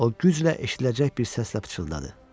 O güclə eşidiləcək bir səslə pıçıldadı.